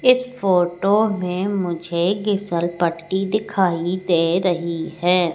इस फोटो में मुझे गीसल पट्टी दिखाई दे रही है।